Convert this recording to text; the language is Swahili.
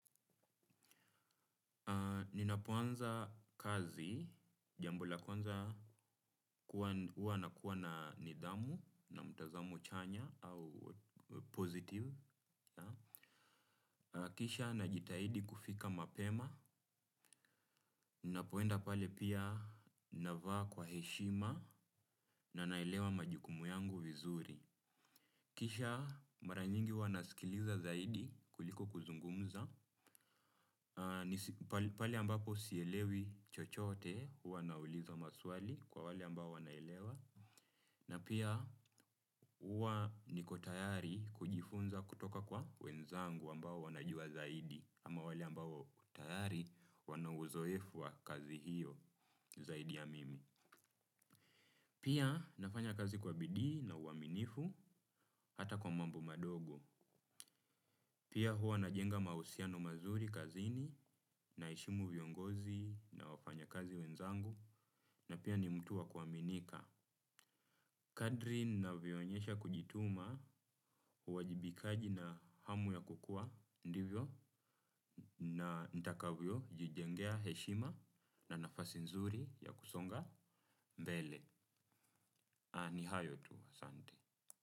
Ninapoanza kazi, jambo la kwanza kuwa nakuwa na nidhamu, na mtazamo chanya, au pozitive. Kisha najitahidi kufika mapema, ninapoenda pale pia navaa kwa heshima na naelewa majukumu yangu vizuri. Kisha mara nyingi huwa nasikiliza zaidi kuliko kuzungumza. Pale ambapo sielewi chochote huwa nauliza maswali kwa wale ambao wanaelewa. Na pia uwa niko tayari kujifunza kutoka kwa wenzangu ambao wanajua zaidi. Ama wale ambao tayari wanauzoefu wa kazi hiyo zaidi ya mimi. Pia nafanya kazi kwa bidii na uaminifu hata kwa mambo madogo. Pia huwa najenga mahusiano mazuri kazini naheshimu viongozi na wafanyakazi wenzangu na pia ni mtu wa kuaminika. Kadri ninavyo onyesha kujituma uwajibikaji na hamu ya kukua ndivyo na nitakavyo jijengea heshima na nafasi nzuri ya kusonga mbele. Ni hayo tu. Asante.